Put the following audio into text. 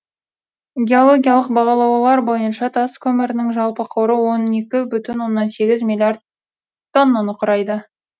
геологиялық бағалаулар бойынша тас көмірінің жалпы қоры он екі бүтін оннан сегіз миллиард тоннаны құрайды